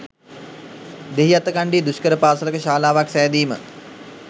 දෙහිඅත්තකන්ඩියේ දුෂ්කර පාසලක ශාලාවක් සෑදීම.